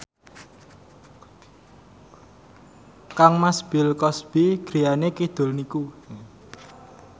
kangmas Bill Cosby griyane kidul niku